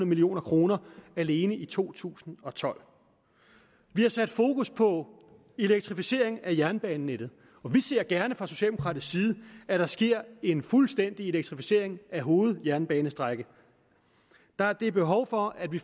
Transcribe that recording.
million kroner alene i to tusind og tolv vi har sat fokus på elektrificeringen af jernbanenettet og vi ser gerne fra socialdemokratisk side at der sker en fuldstændig elektrificering af hovedjernbanestrækninger der er behov for at vi